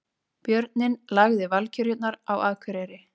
Björninn lagði Valkyrjurnar á Akureyri